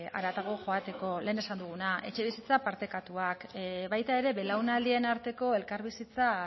haratago joateko lehen esan duguna etxebizitza partekatuak baita ere belaunaldien arteko elkarbizitza